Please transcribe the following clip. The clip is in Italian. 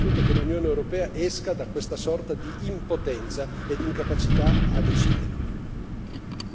Serve un forte segnale e serve soprattutto che l'Unione europea esca da questa sorta di impotenza e di incapacità a decidere.